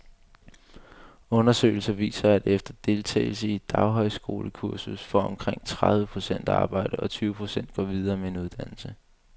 Undersøgelser viser, at efter deltagelse i et daghøjskolekursus får omkring tredive procent arbejde, og tyve procent går videre med en uddannelse.